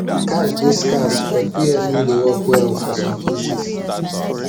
cash dey scarce but pos no dey work well for some places